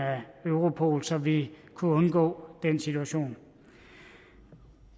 europol så vi kunne undgå den situation